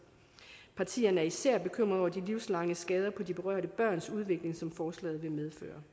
partierne er især bekymret over de livslange skader på de berørte børns udvikling som forslaget vil medføre